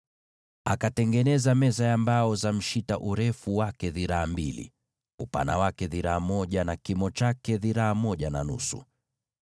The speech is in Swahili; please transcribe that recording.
Akatengeneza meza ya mbao za mshita yenye urefu wa dhiraa mbili, upana wa dhiraa moja, na kimo cha dhiraa moja na nusu.